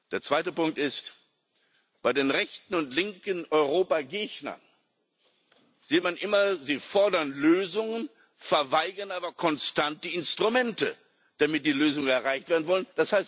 Der zweite Punkt ist Bei den rechten und linken Europagegnern sieht man immer Sie fordern Lösungen, verweigern aber konstant die Instrumente, damit die Lösungen erreicht werden können.